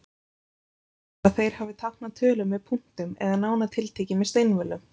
Líklegt er að þeir hafi táknað tölur með punktum eða nánar tiltekið með steinvölum.